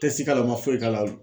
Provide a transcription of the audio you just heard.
Tɛsi k'a la u man foyi k'a la